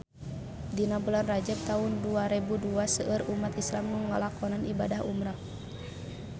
Dina bulan Rajab taun dua rebu dua seueur umat islam nu ngalakonan ibadah umrah